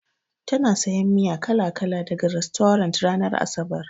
Tana sayan miya kala-kala daga rastorant ranar asabar.